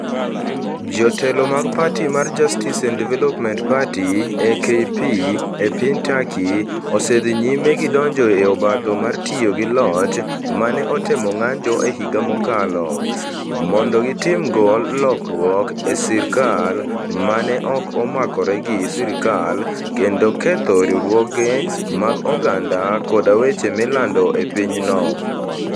Jotelo mag pati mar Justice and Development Party (AKP) e piny Turkey osedhi nyime gi donjo e obadho mar tiyo gi loch ma ne otem ng'anjo e higa mokalo, mondo gitimgo lokruok e sirkal ma ne ok omakore gi sirkal, kendo ketho riwruoge mag oganda koda weche milando e pinyno.